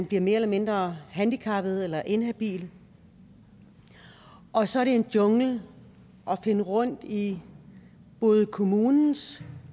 bliver mere eller mindre handicappet eller inhabil og så er det en jungle at finde rundt i både kommunens